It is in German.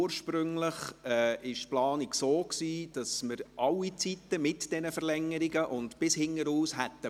Ursprünglich war die Planung so, dass wir alle Zeitspannen, mit den Verlängerungen, durchwegs gebraucht hätten.